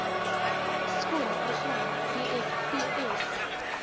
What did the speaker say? skole program bvsp